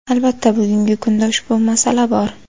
Albatta bugungi kunda ushbu masala bor.